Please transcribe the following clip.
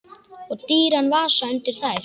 Og dýran vasa undir þær.